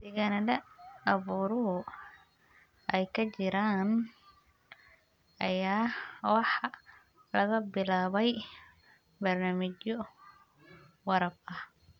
Deegaannada abaaruhu ay ka jiraan ayaa waxaa laga bilaabayaa barnaamijyo waraab ah.